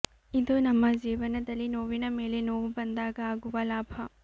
ಇದು ನಮ್ಮ ಜೀವನದಲ್ಲಿ ನೋವಿನ ಮೇಲೆ ನೋವು ಬಂದಾಗ ಆಗುವ ಲಾಭ